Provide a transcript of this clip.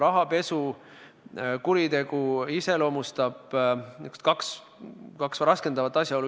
Rahapesukuritegu iseloomustavad kaks raskendavat asjaolu.